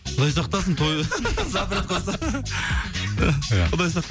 құдай сақтасын той запрет қойса ия құдай